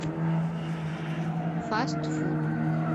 фастфуд